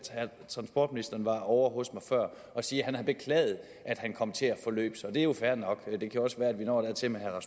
transportministeren efterfølgende var ovre hos mig for at sige at han har beklaget at han kom til at forløbe sig det er jo fair nok det kan også være vi når dertil med herre